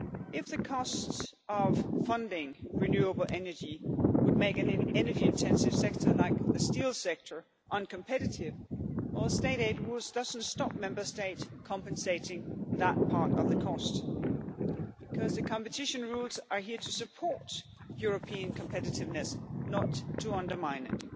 it. If the costs of funding renewable energy would make an energy intensive sector like the steel sector uncompetitive, well, state aid rules do not stop a Member State compensating that part of the cost, because the competition rules are here to support European competitiveness, not to undermine